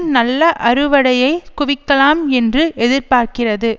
நல்ல அறுவடையை குவிக்கலாம் என்று எதிர்பார்க்கிறது